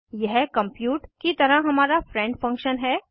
यह कम्प्यूट की तरह हमारा फ्रेंड फंक्शन है